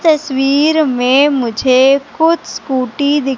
तस्वीर में मुझे खुद स्कूटी दी--